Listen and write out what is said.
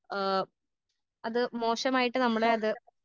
ആ അത് മോശമായിട്ട് നമ്മളെ അത്.